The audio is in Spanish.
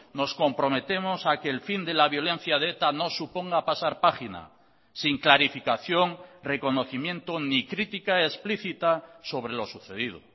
nos comprometemos a que el fin de la violencia de eta no suponga pasar página sin clarificación reconocimiento ni crítica explícita sobre lo sucedido